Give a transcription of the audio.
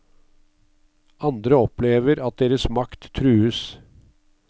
Andre opplever at deres makt trues.